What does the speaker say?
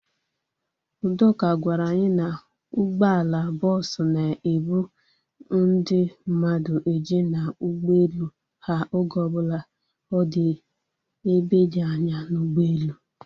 Udoka gwara anyi na ụgbọala bọọsu na-ebu ndị mmadụ eje n'ụgbọelu ha oge ọbụla ọ dị ebe dị anya n'ugboelu